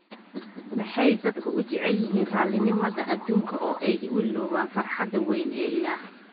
Maxay dadku u jecel yihiin raallinimada adduunka oo ay u illoobaan farxadda weyn ee Ilaah